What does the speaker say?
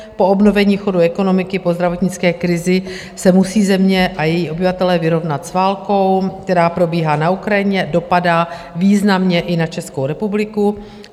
Po obnovení chodu ekonomiky po zdravotnické krizi se musí země a její obyvatelé vyrovnat s válkou, která probíhá na Ukrajině, dopadá významně i na Českou republiku.